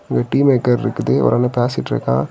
இந்த tea maker இருக்குது ஒரு ஆளு பேசிட்ருக்கா.